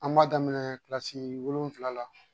An b'a daminɛ kilasi wolonwula la